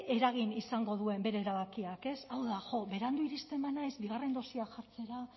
eragin izango duen bere erabakiak hau da berandu iristen banaiz bigarren dosia jartzera